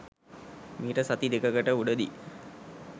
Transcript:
මීට සති දෙකකට උඩ දී.